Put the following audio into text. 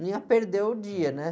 Não ia perder o dia, né?